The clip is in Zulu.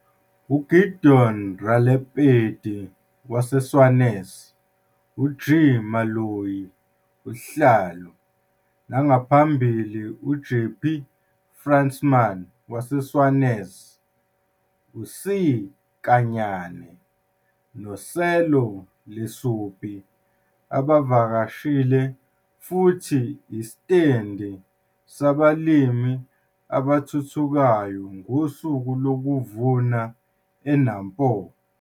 Photo 2- UGideon Ralepedie, Senwes, uG. Maloyi, Usihlalor, nangaphambili uJapie Fransman, Senwes, uC. Kanyane noSello Lesupi abavakashile futhi isitendi sabalimi abathuthukayo ngosuku lokuvuna eNampo.